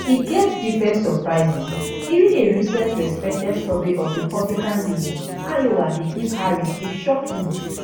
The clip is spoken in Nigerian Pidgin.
e get different surprises even a recent respected survey of republicanleaning iowa dey give harris a shock lead